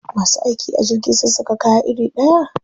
Masu aiki a jirgi sun saka kaya iri ɗaya?